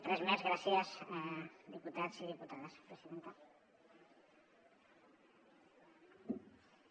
res més gràcies diputats i diputades presidenta